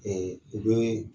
Ɛɛ o don ye